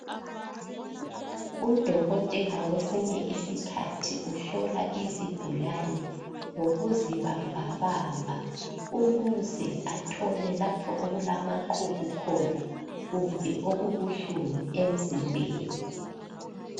Udokotela kwesisinye isikhathi uhlola izigulane ngokuzibambabamba, ukuze athole lapho okulamaqubu khona, kumbe okubuhlungu emzimbeni.